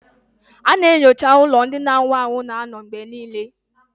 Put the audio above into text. A na-enyocha ụlọ ndị na-anwụ anwụ na-anọ mgbe niile